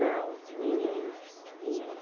Não, ninguém, ninguém.